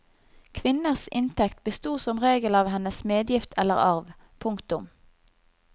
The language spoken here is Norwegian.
Kvinners inntekt besto som regel av hennes medgift eller arv. punktum